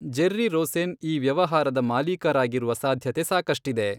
Jerry Rosen ಈ ವ್ಯವಹಾರದ ಮಾಲೀಕರಾಗಿರುವ ಸಾಧ್ಯತೆ ಸಾಕಷ್ಟಿದೆ.